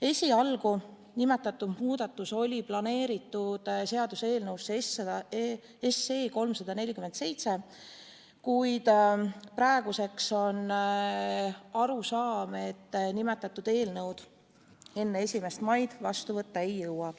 Esialgu oli nimetatud muudatus planeeritud seaduseelnõusse 347, kuid praeguseks on aru saadud, et nimetatud eelnõu enne 1. maid vastu võtta ei jõuta.